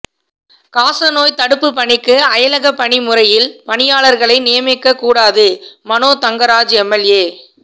காசநோய் தடுப்புப் பணிக்கு அயலகப்பணி முறையில் பணியாளா்களை நியமிக்கக் கூடாதுமனோதங்கராஜ் எம்எல்ஏ